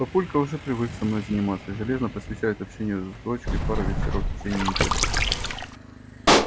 папулька уже привык со мной заниматься и железно посвящает общению с дочкой пару вечеров в течение недели